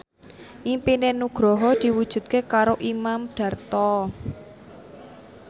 impine Nugroho diwujudke karo Imam Darto